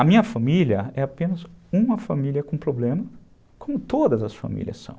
A minha família é apenas uma família com problema, como todas as famílias são.